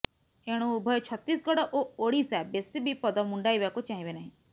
ଏଣୁ ଉଭୟ ଛତିଶଗଡ ଓ ଓଡ଼ିଶା ବେଶୀ ବିପଦ ମୁଣ୍ଡାଇବାକୁ ଚାହିଁବେ ନାହିଁ